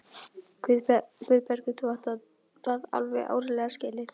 Guðbergur, þú átt það alveg áreiðanlega skilið.